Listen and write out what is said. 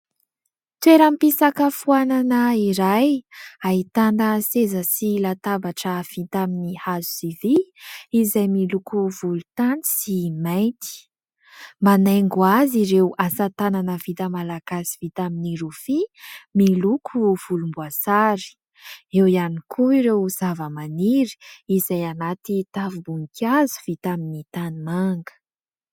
Toeram-pisakafoanana iray ahitana seza sy latabatra vita amin'ny hazo sy vy izay miloko volontany sy mainty. Manaingo azy ireo asa tanana vita malagasy vita amin'ny rofia miloko volom-boasary. Eo ihany koa ireo zava-maniry izay anaty tavim-boninkazo vita amin'ny tany manga.